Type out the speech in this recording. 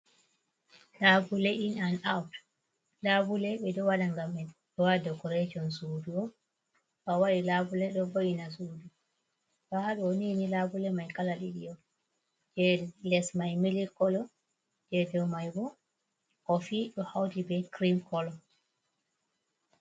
Labule In an Aut, Labule ɓe ɗo Waɗa ngam ɓe waɗa Dekoretin Suudu, to Awaɗia Labule ɗo Wo'ina Suudu, to Haɗonini Labule mai Kala ɗiɗi'on e Lesmaini Mil kolo e dou Maibo ɗo Hauti be kirim Kolo.